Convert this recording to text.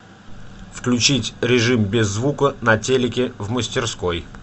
включить режим без звука на телике в мастерской